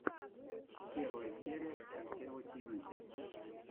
первая серия альтева тиви